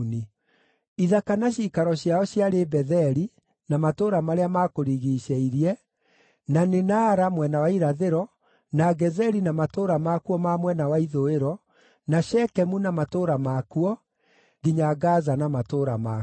Ithaka na ciikaro ciao ciarĩ Betheli, na matũũra marĩa maakũrigiicĩirie, na nĩ Naara mwena wa irathĩro, na Gezeri na matũũra makuo ma mwena wa ithũĩro, na Shekemu na matũũra makuo, nginya Gaza na matũũra makuo.